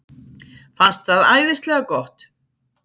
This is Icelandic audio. Fannst það æðislega gott.